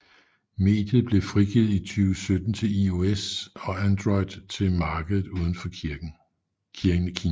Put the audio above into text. Mediet blev frigivet i 2017 til iOS og Android til markedet uden for Kina